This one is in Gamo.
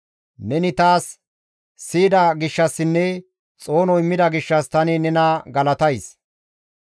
Neni taas siyida gishshassinne xoono immida gishshas tani nena galatays.